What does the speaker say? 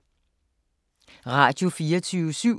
Radio24syv